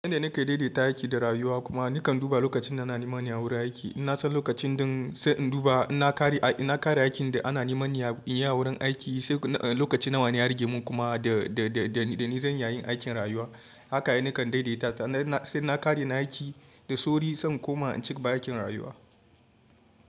Yanda nake daidaita aiki da rayuwa kuma nakan duba lokacin da ana nimana a wurin aiki. Na san lokacin ɗin sai in duba, inna kare, na kare aikin da ana niman in yi a wurin aiki sai lokaci nawa ne ya rage mun kuma da, da, da, da nizan iyayin aikin rayuwa. Haka ne nakan daidaita sai na kare na aiki da sauri sai in koma in cigaba aikin rayuwa.